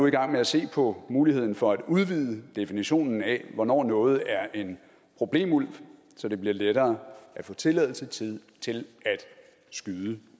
i gang med at se på muligheden for at udvide definitionen af hvornår noget er en problemulv så det bliver lettere at få tilladelse til at skyde